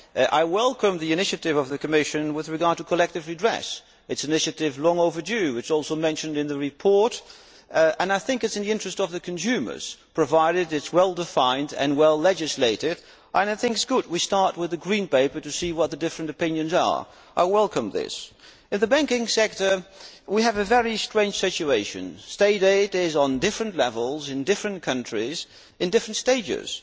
I welcome the initiative of the Commission with regard to collective redress, which is a long overdue initiative. It is also mentioned in the report, and I think it is in the interests of the consumers provided it is well defined and well legislated. I think it is good. We will start with the Green Paper to see what the different opinions are. I welcome this. In the banking sector, we have a very strange situation State aid is on different levels in different countries, in different stages.